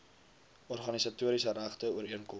organisatoriese regte ooreenkoms